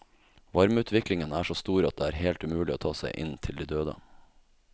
Varmeutviklingen er så stor at det er helt umulig å ta seg inn til de døde.